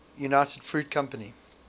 united fruit company